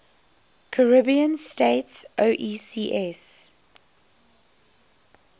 caribbean states oecs